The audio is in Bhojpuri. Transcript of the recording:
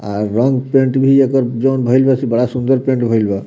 आर रंग-पेंट भी एकर जोन भइल बा से बड़ा सुन्दर पेंट भइल बा।